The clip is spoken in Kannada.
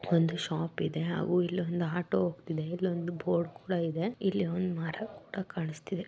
ಒಂದು ಶಾಪ್ ಇದೆ ಹಾಗು ಇಲ್ಲೊಂದು ಆಟೋ ಹೋಗ್ತಿದೆ ಇಲ್ಲೊಂದು ಬೋರ್ಡ್ ಕೂಡಾ ಇದೆ ಇಲ್ಲಿ ಒಂದು ಮರ ಕೂಡಾ ಕಾಣಿಸ್ತಿದೆ.